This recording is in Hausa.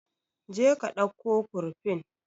Je ka dauko kurfin